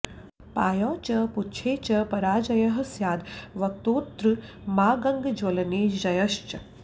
पायौ च पुच्छे च पराजयः स्याद् वक्त्रोत्तमाङ्गग्ज्वलने जयश्च